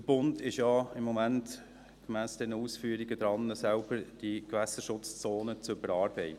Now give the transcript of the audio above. Der Bund ist ja gemäss diesen Ausführungen im Moment selbst daran, die Gewässerschutzzonen zu überarbeiten.